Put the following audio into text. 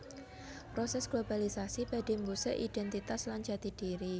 Prosès globalisasi badhé mbusek idhéntitas lan jati dhiri